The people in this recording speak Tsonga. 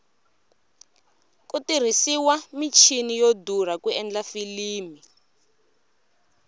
ku tirhisiwa michini yo durha ku endla filimi